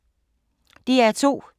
DR2